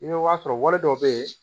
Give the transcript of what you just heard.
I bɛ t'a sɔrɔ wari dɔw bɛ yen